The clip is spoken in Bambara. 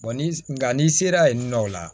ni nga n'i sera yen nɔ o la